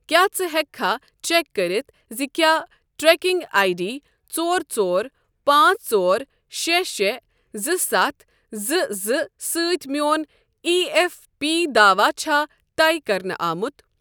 کیٛاہ ژٕ ہیٚککھا چٮ۪ک کٔرتھ زِ کیٛاہ ٹریکنگ آی ڈی ژور ژور پانژھ ژور شےٚ شےٚ زٕ سَتھ زٕ زٕ سۭتۍ میون ایی ایف پی دوا چھا طے کَرنہٕ آمُت؟